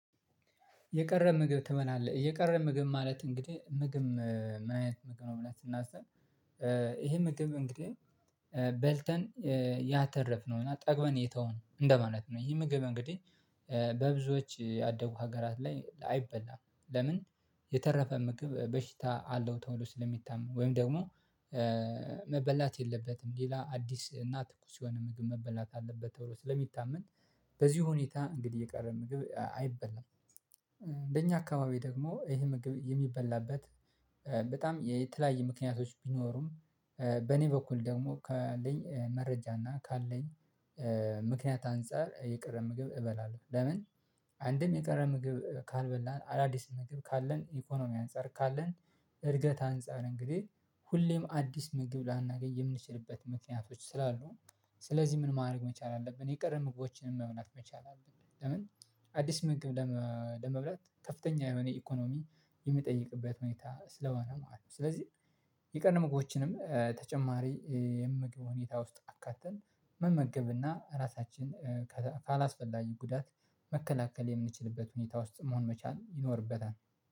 የቀረ ምግብ ትበላለህ የቀረ ምግብ ማለት እንግዲህ ምግብ ምን አይነት ምግብ ነው መብላት ስናስብ? ይሄ ምግብ እንግዲህ በልተን ያተረፍነው እና ጠግበን የተውን እንደማለት ነው። ይሄ ምግብ እንግዲህ በብዙዎች ያደጉ ሀገራት ላይ አይበላም። ለምን የተረፈ ምግብ በሽታ አለው ተብሎ ስለሚታመን ወይም ደግሞ መበላት የለበትም ሌላ አዲስ እና ትኩስ የሆነ ምግብ መበላት አለበት ተብሎ ስለሚታመን። በዚህ ሁኔታ እንግዲህ የቀረ ምግብ አይበላም። በእኛ አካባቢ ደግሞ ይሄ ምግብ የሚበላበት በጣም የተለያየ ምክንያቶች ቢኖሩም በኔ በኩል ደግሞ ካለኝ መረጃና ካለኝ ምክንያት አንፃር የቀረ ምግብ እበላለሁ። ለምን አንድም የቀረ ምግብ ካልበላን አዳዲስ ምግብ ካለን ኢኮኖሚ አንፃር ካለን እድገት አንፃር እንግዲህ ሁሌም አዲስ ምግብ ላናገኝ የምንችልበት ምክንያቶች ስላሉ ስለዚህ ምን ማድረግ መቻል አለብን የቀረን ምግቦችን መብላት መቻል አለብን። ለምን አዲስ ምግብ ለመብላት ከፍተኛ የሆነ ኢኮኖሚ የሚጠይቅበት ሁኔታ ስለሆነ ማለት ነው። ስለዚህ የቀን ምግቦችንም ተጨማሪ የምግብ ሁኔታ ውስጥ አካተን መመገብና ራሳችን ካላስፈላጊ ጉዳት መከላከል የምንችልበት ሁኔታ ውስጥ መሆን መቻል ይኖርበታል